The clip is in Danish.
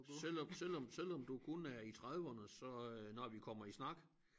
Selvom selvom selvom du kun er i trediverne så øh når vi kommer i snak